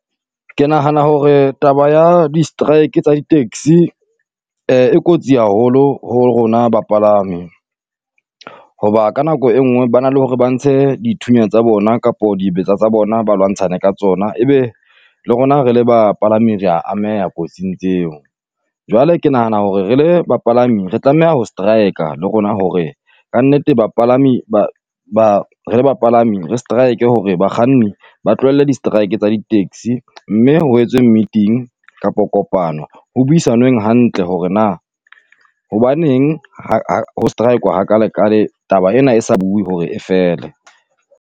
Ke nahana hore taba ya di-strike tsa di-taxi e kotsi haholo ho rona bapalami, hoba ka nako engwe ba na le hore ba ntshe dithunya tsa bona kapo dibetsa tsa bona ba lwantshane ka tsona, ebe le rona re le bapalami rea ameha kotsing tseo. Jwale ke nahana hore re le bapalami re tlameha ho strike-a le rona hore kannete bapalami ba ba re bapalami re strike-e hore bakganni ba tlohelle di-strike tsa di-taxi, mme ho etswe meeting kapo kopano ho buisanweng hantle hore na hobaneng ho strike-wa hakalekale taba ena e sa bue hore e fele?